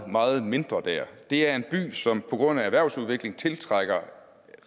meget mindre det er en by som på grund af erhvervsudvikling tiltrækker